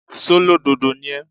ṣólódodo ni ẹ́?